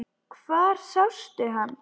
Hvar sástu hann?